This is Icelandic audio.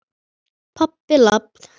Pabbi- labb.